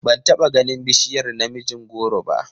Ban taba ganin bishiyar namijin goro ba.